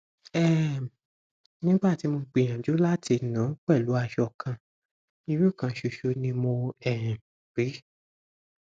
um nígbà tí mo gbìyànjú láti nu pẹlú aṣọ kan irun kan ṣoṣo ni mo um rí